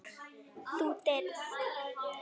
Þú deyrð.